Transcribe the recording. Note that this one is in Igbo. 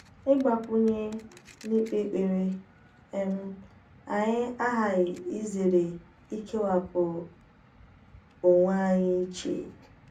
ịgbakwunye n’ikpe ekpere, um anyị aghaghị izere ikewapụ onwe anyị iche.